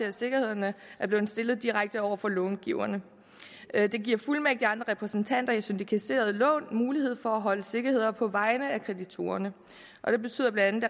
at sikkerheden er blevet stillet direkte over for långiverne det giver fuldmægtige og andre repræsentanter i syndikerede lån mulighed for at holde sikkerheder på vegne af kreditorerne det betyder blandt